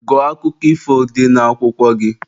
Gụọ akụkọ ifo dị n'akwụkwọ gị!